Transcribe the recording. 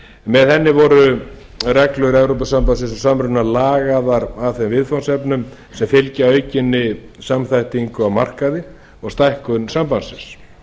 með henni voru reglur evrópusambandsins og samruna lagaðar að þeim viðfangsefnum sem fylgja aukinni samþættingu á markaði og stækkun sambandsins við